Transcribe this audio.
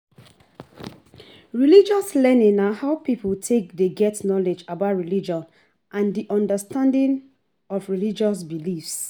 Religious learning na how pipo take dey get knowlege about religion and di understanding of religious beliefs